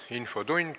Infotund.